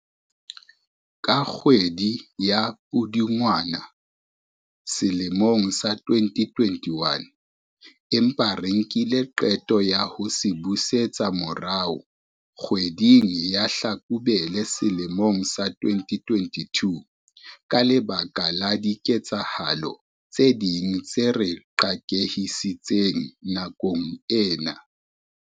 ka kgwedi ya Pudungwana selemong sa 2021, empa re nkile qeto ya ho se busetsa morao kgwe ding ya Hlakubele sele mong sa 2022 ka lebaka la diketsahalo tse ding tse re qakehisitseng nakong ena.